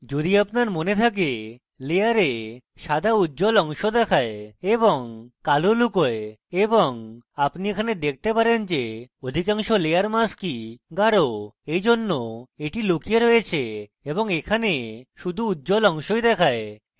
যদি আপনার মনে থাকে layer সাদা উজ্জ্বল অংশ দেখায় এবং কালো লুকোয় এবং আপনি এখানে দেখতে পারেন যে অধিকাংশ layer mask গাঢ় এইজন্য এটি লুকিয়ে রয়েছে এবং এখানে শুধু উজ্জ্বল অংশই দেখায়